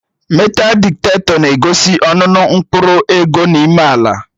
Metaal dịktetọ na-egosi ọnụnọ mkpụrụ ego n'ime ala